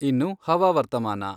ಇನ್ನು ಹವಾವರ್ತಮಾನ.